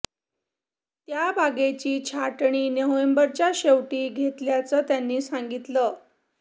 त्या बागेची छाटणी नोव्हेंबरच्या शेवटी घेतल्याचं त्यांनी सांगितलं